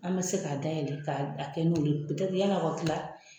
An be se k'a dayɛlɛ ka kɛ n'olu ye. yani a ka kila